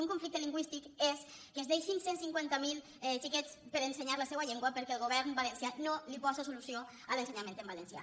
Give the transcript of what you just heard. un conflicte lingüístic és que es deixin cent i cinquanta miler xiquets per ensenyar la seua llengua perquè el govern valencià no posa solució a l’ensenyament en valencià